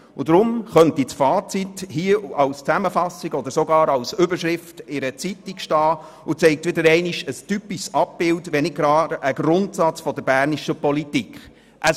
Deshalb könnte das Fazit als Zusammenfassung oder sogar als Überschrift in einer Zeitung stehen und ein typisches Abbild, wenn nicht gar einen Grundsatz der bernischen Politik aufzeigen: